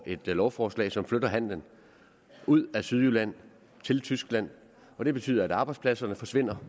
et lovforslag som flytter handelen ud af sydjylland og ned til tyskland det betyder at arbejdspladser forsvinder